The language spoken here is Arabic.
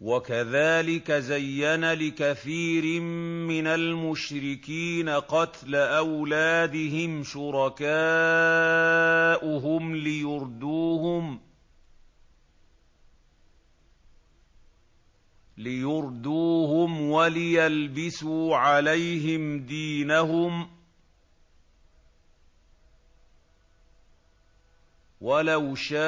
وَكَذَٰلِكَ زَيَّنَ لِكَثِيرٍ مِّنَ الْمُشْرِكِينَ قَتْلَ أَوْلَادِهِمْ شُرَكَاؤُهُمْ لِيُرْدُوهُمْ وَلِيَلْبِسُوا عَلَيْهِمْ دِينَهُمْ ۖ وَلَوْ شَاءَ